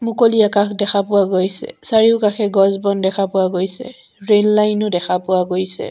মুকলি আকাশ দেখা পোৱা গৈছে চাৰিওকাষে গছ বন দেখা পোৱা গৈছে ৰেল লাইন ও দেখা পোৱা গৈছে।